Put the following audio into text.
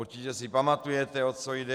Určitě si pamatujete, o co jde.